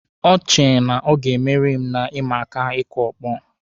O che na ọ ga-emeri m na ịma aka ịkụ ọkpọ.